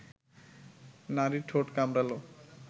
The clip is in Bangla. নারীর ঠোঁট কামড়ালো